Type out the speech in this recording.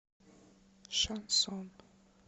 шансон